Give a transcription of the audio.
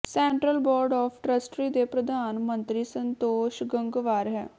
central board of trustee ਦੇ ਪ੍ਰਧਾਨ ਮੰਤਰੀ ਸੰਤੋਸ਼ ਗੰਗਵਾਰ ਹੈ